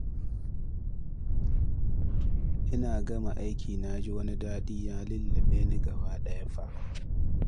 Ina gama aikin na ji wani daɗi ya lulluɓe ni gabaɗaya fa